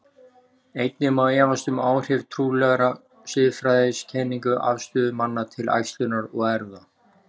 Einnig má efast um áhrif trúarlegra siðfræðikenninga á afstöðu manna til æxlunar og erfða.